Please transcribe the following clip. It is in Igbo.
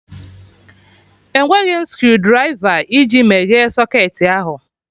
Enweghị m screwdrịva iji meghee socketị ahụ